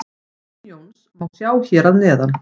Grein Jóns má sjá hér að neðan.